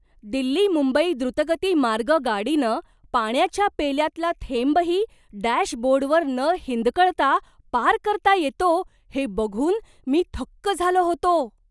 दिल्ली मुंबई द्रुतगती मार्ग गाडीनं पाण्याच्या पेल्यातला थेंबही डॅशबोर्डवर न हिंदकळता पार करता येतो हे बघून मी थक्क झालो होतो.